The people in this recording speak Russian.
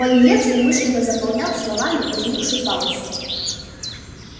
пониетс умышленно заполнял словами возникшую паузу